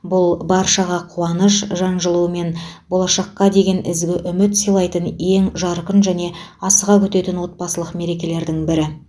бұл баршаға қуаныш жан жылуы мен болашаққа деген ізгі үміт сыйлайтын ең жарқын және асыға күтетін отбасылық мерекелердің бірі